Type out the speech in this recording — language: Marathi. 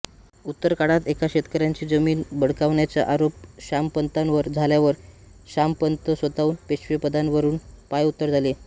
उत्तरकाळात एका शेतकऱ्याची जमीन बळकावण्याचा आरोप श्यामपंतांवर झाल्यावर शामपंत स्वतःहून पेशवेपदावरून पायउतार झाले